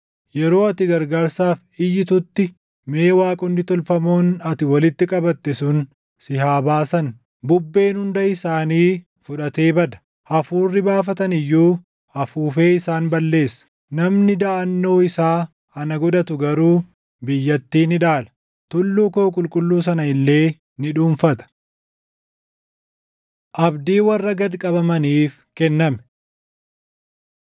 Yeroo ati gargaarsaaf iyyitutti, mee waaqonni tolfamoon ati walitti qabatte sun si haa baasan! Bubbeen hunda isaanii fudhatee bada; hafuurri baafatan iyyuu afuufee isaan balleessa. Namni daʼannoo isaa ana godhatu garuu // biyyattii ni dhaala; tulluu koo qulqulluu sana illee ni dhuunfata.” Abdii Warra Gad Qabamaniif Kenname